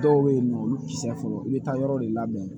Dɔw bɛ yen nɔ olu tɛ se fɔlɔ i bɛ taa yɔrɔ de labɛn